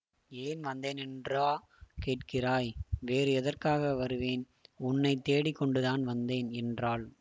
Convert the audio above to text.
ஏன் வந்தேனென்றா கேட்கிறாய் வேறு எதற்காக வருவேன் உன்னை தேடிக்கொண்டுதான் வந்தேன் என்றாள்